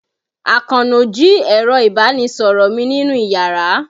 Àkànó jí ẹ̀rọ ìbánisọ̀rọ̀ mi nínú iyàrá.